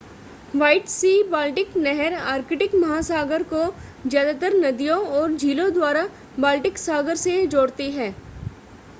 white sea Baltic नहर Arctic महासागर को ज्यादातर नदियों और झीलों द्वारा बाल्टिक सागर से जोड़ती है जैसे झील वनगा झील लाडोगा और सेंट पीटर्सबर्ग